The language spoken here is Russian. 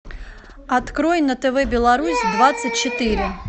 открой на тв беларусь двадцать четыре